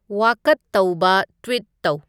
ꯋꯥꯀꯠ ꯇꯧꯕ ꯇ꯭ꯋꯤꯠ ꯇꯧ